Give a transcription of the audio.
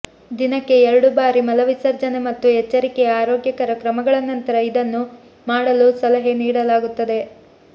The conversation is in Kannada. ದಿನಕ್ಕೆ ಎರಡು ಬಾರಿ ಮಲವಿಸರ್ಜನೆ ಮತ್ತು ಎಚ್ಚರಿಕೆಯ ಆರೋಗ್ಯಕರ ಕ್ರಮಗಳ ನಂತರ ಇದನ್ನು ಮಾಡಲು ಸಲಹೆ ನೀಡಲಾಗುತ್ತದೆ